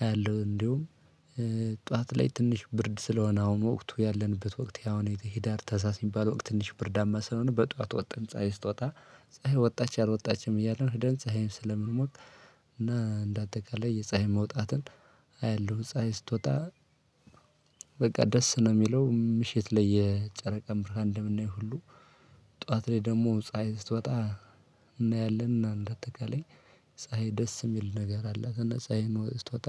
አያለሁ። እንደውም ጠዋት ላይ ትንሽ ብርድ ስለሆነ አሁን ወቅቱ ያለንበት ወቅት ያሁን ሂዳር ታህሳስየሚባለው ትንሽ ብርዳማ ስለሆነ በጧት ወጥን ፀሀይ ስትወጣ ፀሀይ ወጣች አልወጣችም እያለን ህደን ፀሀይን ስለምንሞቅ እና እንደአጠቃላይ የፀሀይ መውጣትን አያለሁ። ፀሀይ ስትወጣ በቃ ደስ ነው የሚለው ምሽት ላይ የጨረቃ ብርሃን እንደምናየው ሁሉ። ጠዋት ላይ ደሞ ፀሀይ ስትወጣ እናያለንና እንዳጠቃላይ ፀሀይ ደስ የሚል ነገር አላት። እና ፀሀይን ስትወጣ